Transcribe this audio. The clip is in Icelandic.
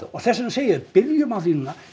og þess vegna segi ég byrjum á því núna